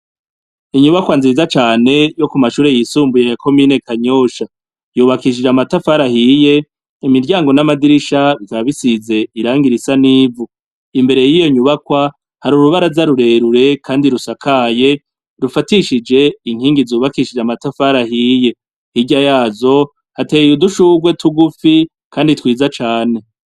Inyubakwa nziza cane yo ku mashure y'isumbuye ya komine Kanyosha, yubakishije amatafari ahiye. Imiryango n'amadirisha bikabisize irangi risa n'ivu imbere, y'iyo nyubakwa hari urubara za rurerure kandi rusakaye rufatishije inkingi zubakishije amatafari ahiye, hirya yazo hateye udushurwe tugufi kandi twiza cane.